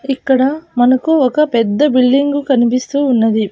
ఇక్కడ మనకు ఒక పెద్ద బిల్డింగు కనిపిస్తూ ఉన్నది.